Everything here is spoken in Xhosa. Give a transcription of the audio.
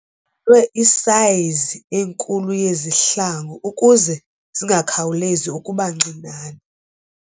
lwe isayizi enkulu yezihlangu ukuze zingakhawulezi ukuba ncinane.